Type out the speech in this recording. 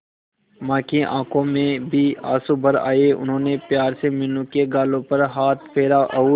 मां की आंखों में भी आंसू भर आए उन्होंने प्यार से मीनू के गालों पर हाथ फेरा और